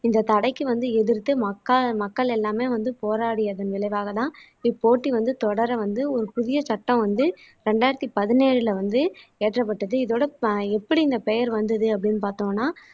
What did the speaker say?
இந்த தடைக்கு வந்து எதிர்த்து மக்க மக்கள் எல்லாமே வந்து போராடியதன் விளைவாகதான் இப்போட்டி வந்து தொடர வந்து ஒரு புதிய சட்டம் வந்து இரண்டாயிரத்தி பதினேழுல வந்து இயற்றப்பட்டது இதோட ஆஹ் எப்படி இந்த பெயர் வந்தது அப்படின்னு பார்த்தோம்னா